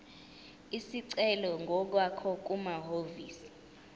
isicelo ngokwakho kumahhovisi